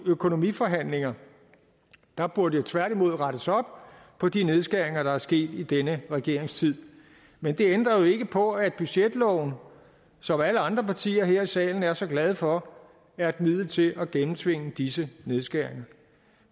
økonomiforhandlinger der burde tværtimod rettes op på de nedskæringer der er sket i denne regerings tid men det ændrer jo ikke på at budgetloven som alle andre partier her i salen er så glade for er et middel til at gennemtvinge disse nedskæringer